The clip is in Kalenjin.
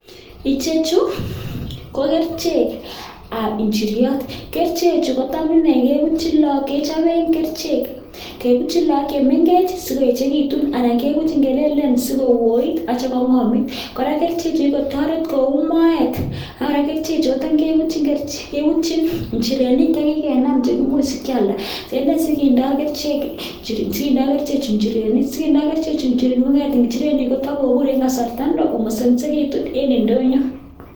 Icheju ko kerichek ab injiryot. Kerichej kotam inee kechoben kerichek kebutyii lagok chemengech asikoechegitun anan kebutyi kelelen sikooit ak kityo kong'omit. Kora kericheju kogikotoret koun moet ak kora kericheju kotam kebutyin njirenik che kikenam chekimoe sikyalda. Ene sigindo kericheju njirrenik, sigindo kericheju njirenik kong'et njirenik kotokobur en kasarta neo komosomisegitun en ndonyo